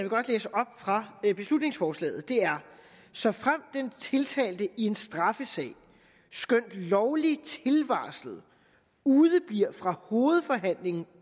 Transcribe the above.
godt læse op fra beslutningsforslaget er såfremt den tiltalte i en straffesag skønt lovligt tilvarslet udebliver fra hovedforhandlingen